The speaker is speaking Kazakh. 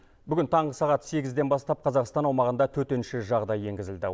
бүгін таңғы сағат сегізден бастап қазақстан аумағында төтенше жағдай енгізілді